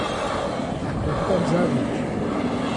A tokrat zadnjič.